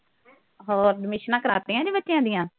ਹੋਰ। admissions ਕਰਾਤੀਆਂ ਜੀ ਬੱਚਿਆਂ ਦੀਆਂ।